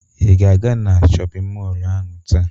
Ị ga-aga na shọpịn mọlụ ahụ taa?